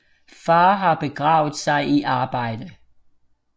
Far har begravet sig i arbejde